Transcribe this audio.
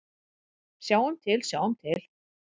Sjáum til, sjáum til.